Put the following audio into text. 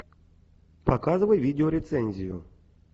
показывай видеорецензию